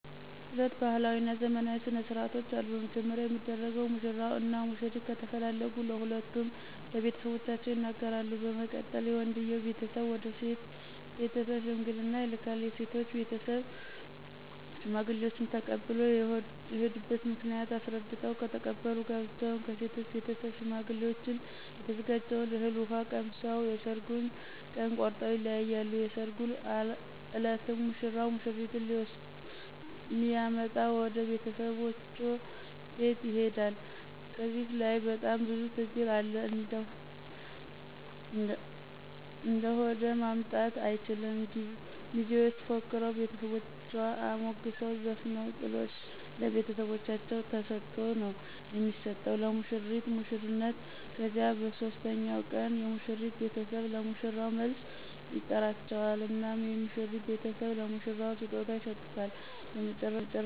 ሁለት ባህላዊ እና ዘመናዊ ስነ ስርዓቶች አሉ። በመጀመሪያ የሚደረገው ሙሽራው እና ሙሽሪት ከተፈላለጉ ሁለቱም ለቤተሰቦቻቸው ይነገራሉ በመቀጠል የወንድየው ቤተሰብ ወደ ሴቶ ቤተስብ ሽምግልና ይልካል የሴቶ ቤተሰብም ሽማግሌዎችን ተቀብሎ የሆዱበት ምክንያት አሰረድተው ከተቀበሉ ጋብቻውን ከሴቶ ቤተሰብ ሸማግሌዎችን የተዘጋጀውን እህል ውሃ ቀምሰው የሠራጉን ቀን ቆረጠው ይለያያሉ። የሰራጉ እለትም ሙሽራው ሙሽሪትን ሊመጣ ወደ ቤተሰቦቻ ቤት ይሆዳ ከዚህ ለይ በጣም ብዙ ትግል አለ እንደሆደ ማምጣትም አይችል ሚዜዎች ፎክረው ቤተሰቦቻን አሞግሰው ዘፍነው ጥሎሽ ለቤተሰቦቻ ተሰጦ ነው የሚሰጠው ለሙሽራው ሙሽሪትን ከዚያ በሦስተኛው ቀን የሙሽሪት ቤተሰብ ለሙሽራው መልስ ይጠራቸዋል እናም የሙሽሪት ቤተሰብ ለሙሽራው ስጦታ ይሰጡታ በመጨረሻ ሁለቱም ወደ ወንድ ቤተሰብ ይሆዳሉ ትዳራቸውን ይጀምራሉ።